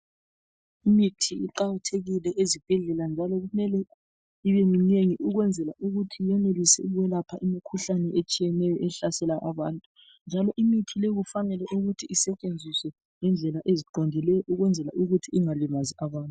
Imithi iqakathekile ezibhedlela njalo kumele ibeminengi ukwenzela ukuthi yenelise ukwelapha imikhuhlane etshiyeneyo ehlasela abantu njalo imithi leyo fanele ukuthi isetshenziswe ngendlela eziqondileyo ukwenzela ukuthi ingalimazi abantu.